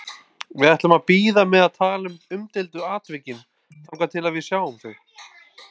Við ætlum að bíða með að tala um umdeildu atvikin þangað til við sjáum þau.